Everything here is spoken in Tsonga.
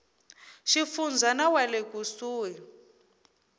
xifundza na wa le kusuhi